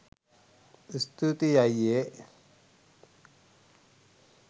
ස්තූතියි අයියේ